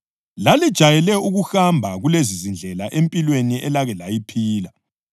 Lalijayele ukuhamba kulezizindlela empilweni elake layiphila.